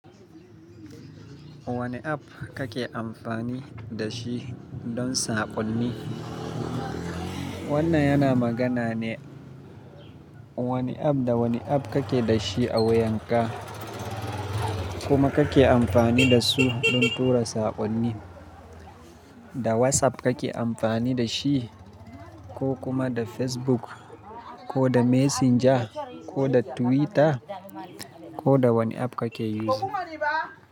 Wane app kake amfani da shi don saƙonni? Wannan yana magana ne. Wane app da wane app kake da shi a wayanka kuma kake amfani da su don tura saƙonni? Da WhatsApp kake amfani da shi ko kuma da Facebook ko da Messenger ko da Twitter ko da wane app kake yi shi?